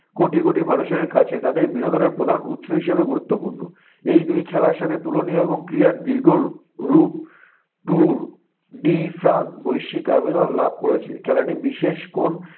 কোটি কোটি মানুষের কাছে তাদের বিনোদনের প্রধান উৎস হিসেবে গুরুত্বপূর্ণ। এই দুই খেলার সাথে তুলনীয় এবং ক্রীড়ার দীর্ঘ রূ~ রূপ Tour de France বৈশিক আবেদন লাভ করেছে। খেলাটি বিশেষ কোন